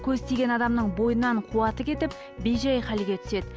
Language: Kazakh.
көз тиген адамның бойынан қуаты кетіп бей жай халге түседі